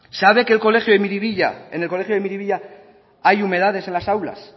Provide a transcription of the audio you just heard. sabe que en el colegio de miribilla hay humedades en las aulas